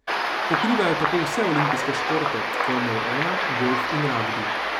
Pokrivajo tako vse olimpijske športe, formulo ena, golf in ragbi.